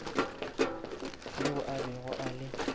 leo a bego a le